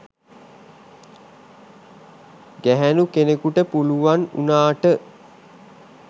ගැහැනු කෙනෙකුට පුළුවන් උනාට